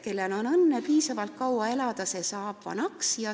Kellel on õnne piisavalt kaua elada, see saab vanaks.